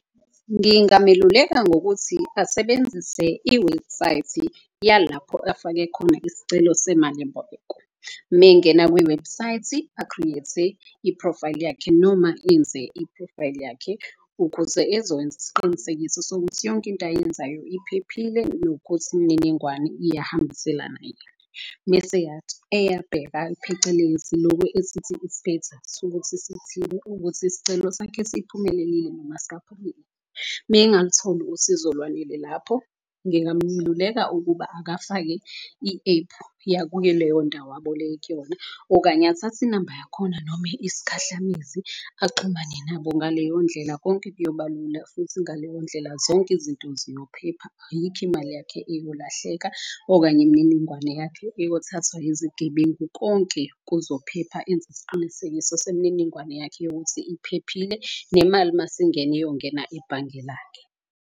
Ngingameluleka ngokuthi asebenzise iwebhusayithi yalapho afake khona isicelo semalimboleko. Mengena kwiwebhusayithi a-create-e iphrofayili yakhe noma enze iphrofayili yakhe. Ukuze ezokwenza isiqinisekiso sokuthi yonke into ayenzayo iphephile nokuthi imininingwane iyahambiselana . Mese eyabheka phecelezi loku esithi ukuthi isicelo sakhe siphumelelile noma . Mengalutholi usizo olwanele lapho ngingamluleka ukuba akafake i-ephu yakuyo leyo ndawo abole kuyona. Okanye athathe inamba yakhona noma isikhahlamezi axhumane nabo. Ngaleyo ndlela konke kuyoba lula futhi ngaleyo ndlela zonke izinto zizophepha. Ayikho imali yakhe eyolahleka okanye imininingwane yakhe eyothathwa izigebengu. Konke kuzophepha enze isiqinisekiso semininingwane yakhe yokuthi iphephile, nemali masingena iyongena ebhange lakhe.